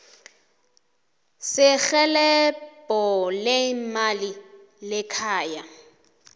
serhelebho leemali lekhaya